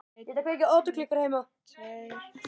Brynja, Eyrún og Ásdís.